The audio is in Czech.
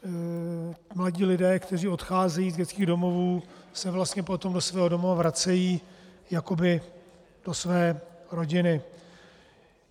Mladí lidé, kteří odcházejí z dětských domovů, se vlastně potom do svého domova vracejí jakoby do své rodiny.